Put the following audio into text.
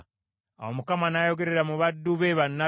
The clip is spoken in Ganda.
Awo Mukama n’ayogerera mu baddu be bannabbi